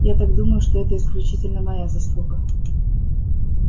я так думаю что это исключительно моя заслуга